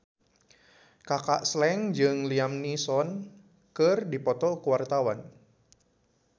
Kaka Slank jeung Liam Neeson keur dipoto ku wartawan